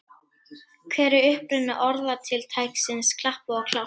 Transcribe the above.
Eftir að hafa minnkað muninn stigu gestirnir vel á bensíngjöfina og jöfnunarmarkið lá í loftinu.